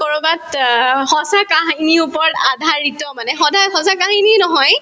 কৰবাত অ সঁচা কাহিনীৰ ওপৰত আধাৰিত মানে সদায় সঁচা কাহিনী নহয়